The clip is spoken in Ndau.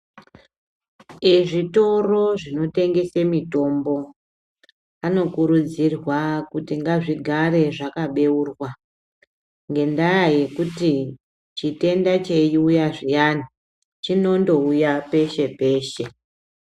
Zvitoro zvinotengese mitombo anokurudzirwa kuti ngazvigare zvakabeurwa. Ngendaa yekuti chitenda cheiuya zviyani chinondouya peshe-peshe.